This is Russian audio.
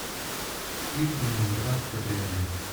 клип ленинград кабриолет